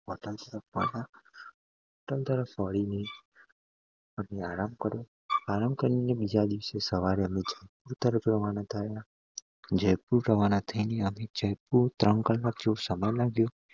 આરામ કર્યો આરામ કરી ને બીજા દિવસે સવારે અમે જયપુર જવા રવાના થયા જયપુર રવાના થઇ ને અમે જયપુર